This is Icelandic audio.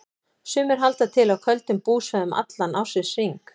Sumir halda til á köldum búsvæðum allan ársins hring.